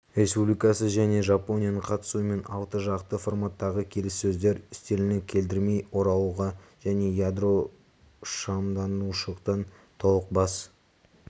республикасы және жапонияның қатысуымен алты жақты форматтағы келіссөздер үстеліне кідірмей оралуға және ядролықшамданушылықтан толық бас